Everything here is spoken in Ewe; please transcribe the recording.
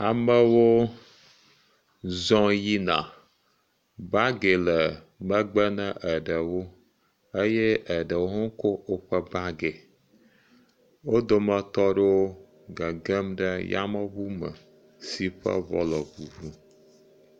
Amewo zɔ̃ yina. Bagi le megbe ne eɖewo eye eɖewo hã ko woƒe bagi. Wo dometɔ ɖewo gegem ɖe yameŋu me si ƒe ŋɔ le ŋuŋu.